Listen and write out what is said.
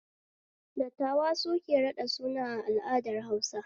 Dattawa suke raɗa suna a al'adar Hausa